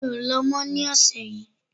Mi ò lọ mọ̀ ní ọ̀sẹ̀ yìí